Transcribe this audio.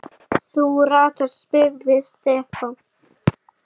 Þú ratar? spurði Stefán.